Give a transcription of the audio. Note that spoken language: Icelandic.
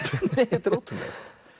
þetta er ótrúlegt